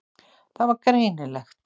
Það var greinilegt.